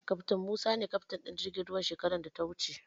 Kaftin Musa ne kaftin ɗin jirgin ruwan shekaran da ta wuce.